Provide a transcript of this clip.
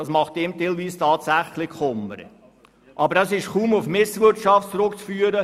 Das kann einem tatsächlich Kummer bereiten, und es ist kaum auf Misswirtschaft zurückzuführen.